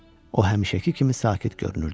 O həmişəki kimi sakit görünürdü.